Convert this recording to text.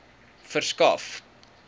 verskaf